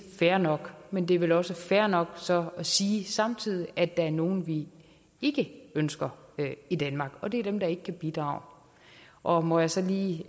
fair nok men det vel også fair nok så at sige samtidig at der er nogle vi ikke ønsker i danmark og det er dem der ikke kan bidrage og må jeg så lige